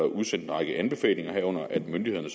udsendt en række anbefalinger herunder at myndighederne